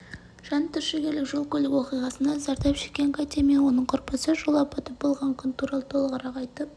жантүршігерлік жол-көлік оқиғасынан зардап шеккен катя мен оның құрбысы жол апаты болған күн туралы толығырақ айтып